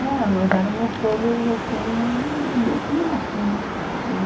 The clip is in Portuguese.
É, nós éramos todos, assim, os bichos-mato, né?